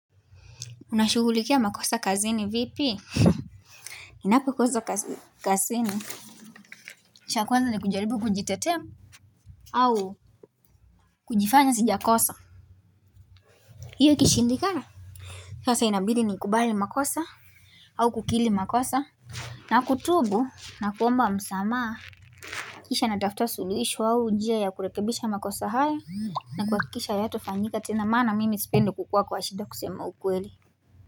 Unashukulikia makosa kazini vipi Inapo kosa kazini sha kwanza ni kujaribu kujitetema au kujifanya sija kosa hiyo kishindi kala Sasa inabili ni kubali makosa au kukili makosa na kutubu na kuomba msamaa Kisha natafuta sulishu wau ujia ya kurekebisha makosa haya na kwa kisha yato fanyika tena mana mimi sipendo kukua kwa ashida kusema ukweli.